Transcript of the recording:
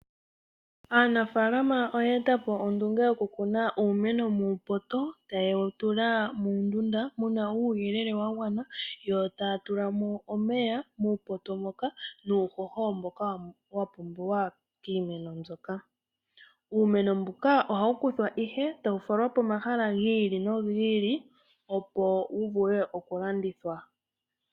Aanafaalama oye etapo ondunge yo ku kuna uumeno muupoto, ta ye wu tula muundunda muna uuyelele wagwana, yo ta ya tulamo omeya nuuhoho muupoto moka. Uumeno mbuka oha wu kuthwa nee, eta wu falwa pomahala gi ili no gi ili opo wuvule okulandithwa.